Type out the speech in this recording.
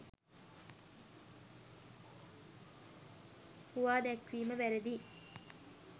හුවාදැක්වීම වැරදියි.